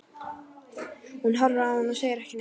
Hún horfir á hann og segir ekki neitt.